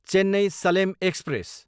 Chennai, Salem express